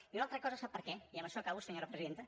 i una altra cosa sap per què i amb això acabo senyora presidenta